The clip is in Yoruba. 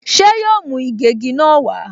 Ṣé yóò mú ìgégi náà wá?